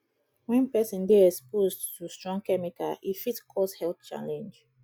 when person dey exposed to strong chemical e fit cause health challenge